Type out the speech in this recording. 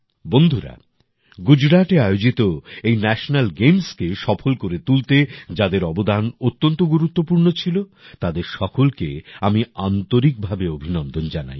বন্ধুরা গুজরাটে আয়োজিত এই ন্যাশেনাল গেমসকে সফল করে তুলতে যাদের অবদান অত্যন্ত গুরুত্বপূর্ণ ছিল তাদের সকলকে আমি আন্তরিকভাবে অভিনন্দন জানাই